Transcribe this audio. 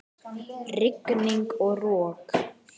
Rigning og rok!